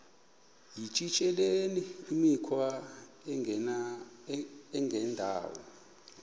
yityesheleni imikhwa engendawo